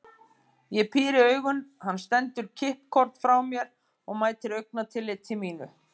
Ég píri augun, hann stendur kippkorn frá mér og mætir augnatilliti mínu.